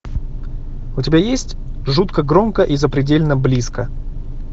у тебя есть жутко громко и запредельно близко